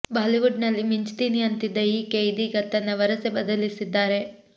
Bollywood ನಲ್ಲಿ ಮಿಂಚ್ತೀನಿ ಅಂತಿದ್ದ ಈಕೆ ಇದೀಗ ತನ್ನ ವರಸೆ ಬದಲಿಸಿದ್ದಾರೆ